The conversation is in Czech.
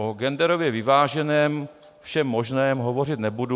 O genderově vyváženém všem možném hovořit nebudu.